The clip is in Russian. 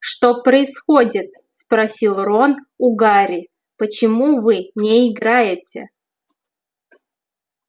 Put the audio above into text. что происходит спросил рон у гарри почему вы не играете